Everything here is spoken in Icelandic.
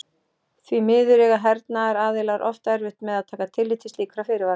Því miður eiga hernaðaraðilar oft erfitt með að taka tillit til slíkra fyrirvara.